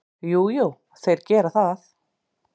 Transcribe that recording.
Jú, jú, þeir gera það.